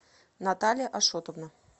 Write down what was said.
наталья ашотовна